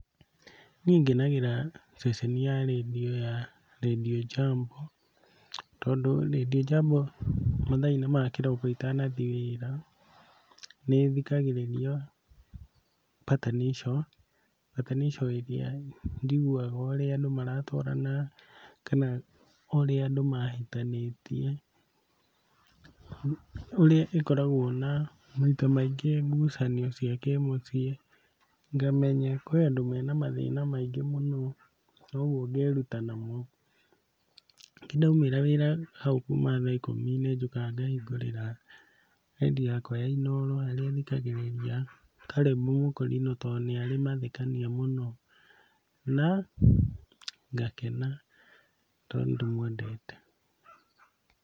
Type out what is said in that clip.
Niĩ ngenagĩra ceceni ya redio ya Radio Jambo, tondũ Radio Jambo mathaa-inĩ ma kĩroko itanathiĩ wĩra nĩthiagĩrĩria Patanisho, Patanisho ĩrĩa njiguaga ũrĩa andũ maratwarana kana ũrĩa andũ mahĩtanĩtie, ũrĩa ĩkoragwo na maita maingĩ ngucanio cia kĩmũciĩ ngamenya kwĩ andũ mena mathĩna maingĩ mũno, ũguo ngeruta namo. Ndaumĩra wĩra hau kuma thaa ikũmi-inĩ njũkaga ngahingũrĩra redio yakwa ya Inooro harĩa thikagĩrĩria Caleb mũkũrinũ tondũ nĩarĩ mathekania mũno, na ngakena tondũ nĩndĩmwendete.